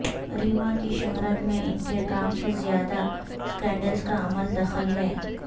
ریما کی شہرت میں ان کے کام سے زیادہ سکینڈلز کا عمل دخل ہے